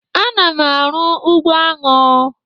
Ana m arụ ụgbọ aṅụ